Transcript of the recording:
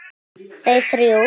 Þau þrjú.